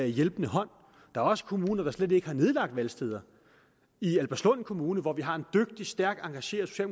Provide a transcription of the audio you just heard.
hjælpende hånd der er også kommuner der slet ikke har nedlagt valgsteder i albertslund kommune hvor vi har en dygtig stærkt engageret